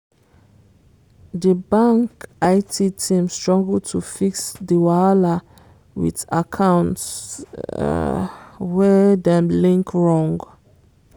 di bank it team struggle to fix di wahala with accounts um wey dem link wrong.